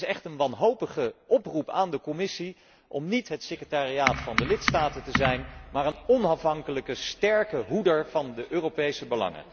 Dit is echt een wanhopige oproep aan de Commissie om niet het secretariaat van de lidstaten te zijn maar een onafhankelijke sterke hoedster van de Europese belangen.